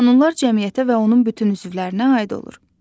Qanunlar cəmiyyətə və onun bütün üzvlərinə aid olur.